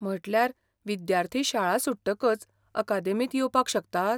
म्हटल्यार विद्यार्थी शाळा सुट्टकच अकादेमींत येवपाक शकतात?